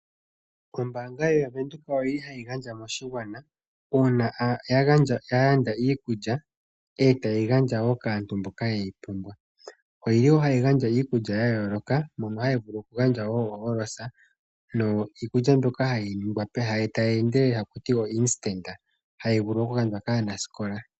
Ombaanga ya Venduka oyi li hayi gandja moshigwana uuna ya landa iikulya, e taye yi gandja wo kaantu mboka yeyi pumbwa. Oye li wo haya gandja iikulya ya yooloka mono haya vulu okugandja wo oOros niikulya mbyoka hayi ningwa tayi endelele taku ti o'instant' hayi vulu okugandjwa kaanasikola.